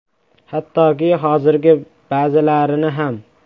Hattoki hozirgi ba’zilarini ham!